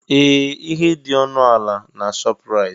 Ee! Ihe dị ọnụ ala na Shọpraịt.